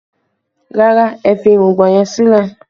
Rárá, ẹ fi irùngbọ̀n yẹn sílẹ̀